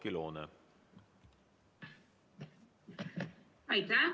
Aitäh!